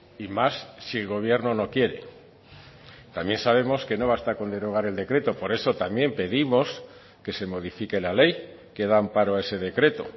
y más si el gobierno no quiere también sabemos que no basta con derogar el decreto por eso también pedimos que se modifique la ley que da amparo a ese decreto